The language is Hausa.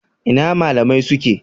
Ina malamai suke?